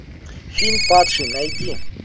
фильм падший найди